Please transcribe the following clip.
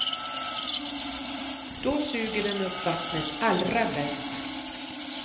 Då suger den upp vattnet allra bäst.